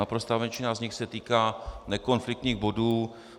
Naprostá většina z nich se týká nekonfliktních bodů.